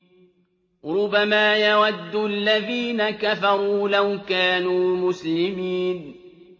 رُّبَمَا يَوَدُّ الَّذِينَ كَفَرُوا لَوْ كَانُوا مُسْلِمِينَ